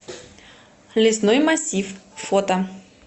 лесной массив фото